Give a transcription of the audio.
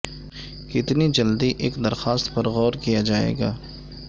کتنی جلدی ایک درخواست پر غور کیا جائے گا